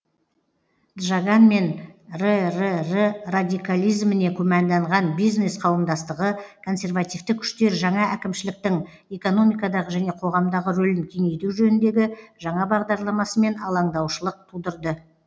джаган мен ррр радикализміне күмәнданған бизнес қауымдастығы консервативті күштер жаңа әкімшіліктің экономикадағы және қоғамдағы рөлін кеңейту жөніндегі жаңа бағдарламасымен алаңдаушылық тудырды